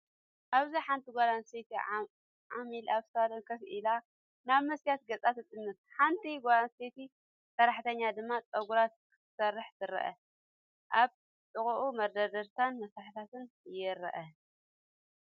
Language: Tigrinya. ኣብዚ ሓንቲ ጓል ኣንስተይቲ ዓሚል ኣብ ሳሎን ኮፍ ኢላ፡ ናብ መስትያት ገጻ ትጥምት፡ ሓንቲ ጓል ኣንስተይቲ ሰራሕተኛ ድማ ጸጉራ ክትሰርሕ ትርአ። ኣብ ጥቓኡ መደርደሪታትን መሳርሕታትን ይረኣዩ።